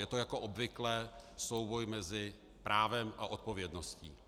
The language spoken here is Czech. Je to jako obvykle souboj mezi právem a odpovědností.